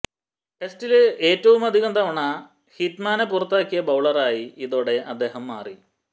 ടെസ്റ്റില് ഏറ്റവുമധികം തവണ ഹിറ്റ്മാനെ പുറത്താക്കിയ ബൌളറായി ഇതോടെ അദ്ദേഹം മാറി